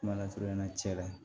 Kumalasurunya cɛ la